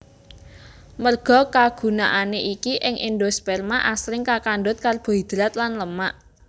Merga kagunaané iki ing endosperma asring kakandhut karbohidrat lan lemak